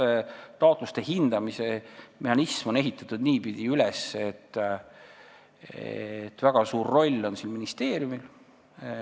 See taotluste hindamise mehhanism on niipidi üles ehitatud, et väga suur roll on ministeeriumil.